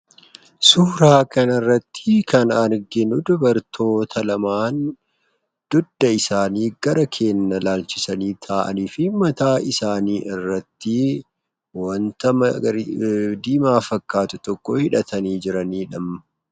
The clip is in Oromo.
Suuraa kanarrattii kan arginuu dubartoota lamaan dudda isaanii gara keenya laalchisanii taa'anii fi mataa isaanii irrattii wanta diimaa fakkaatu tokkoo hidhatanii jiraniidha.